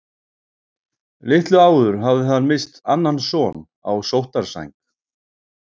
Litlu áður hafði hann misst annan son á sóttarsæng.